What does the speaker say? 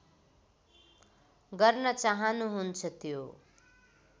गर्न चाहनुहुन्छ त्यो